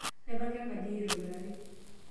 Aipanga enkaji ai aitobiraki.